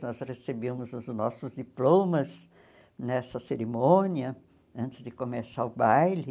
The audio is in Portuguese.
Nós recebíamos os nossos diplomas nessa cerimônia, antes de começar o baile.